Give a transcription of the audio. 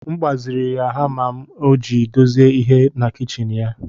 M gbazinyere ya hama m iji dozie ihe na kichin ya